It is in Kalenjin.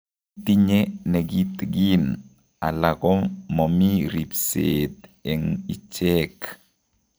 Itinye nekiteen ala ko momi ribseet eng' icheek